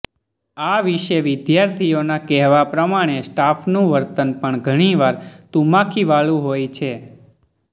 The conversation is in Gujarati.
આ વિશે વિદ્યાર્થીઓના કહેવા પ્રમાણે સ્ટાફનું વર્તન પણ ઘણીવાર તુમાખીવાળું હોય છે